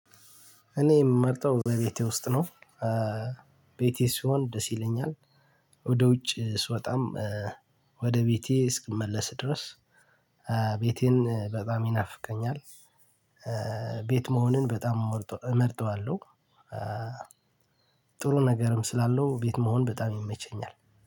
እኔ የምመርጠው በቤቴ ውስጥ ነው። ቤቴ ስሆን ደስ ይለኛል። ወደ ውጭ ስወጣም ወደ ቤቴ እስክመለስ ድረስ ቤቴን በጣም ይናፍቀኛል። ቤት መሆንን በጣም እመርጠዋለሁ። ጥሩ ነገርም ስላለው ቤት መሆን በጣም ይመቸኛል።